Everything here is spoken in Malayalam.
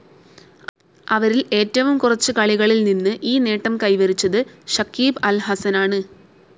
അവരിൽ ഏറ്റവും കുറച്ച് കളികളിൽ നിന്ന് ഈ നേട്ടം കൈവരിച്ചത് ഷക്കീബ് അൽ ഹസനാണ്.